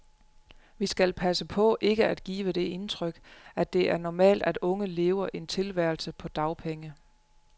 Vi skal passe på ikke at give det indtryk, at det er normalt at unge lever en tilværelse på dagpenge.